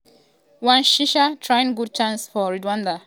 mugisha trying good chance for rwanda but nwabali catch di ball directly for hand.